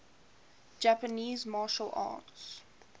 japanese martial arts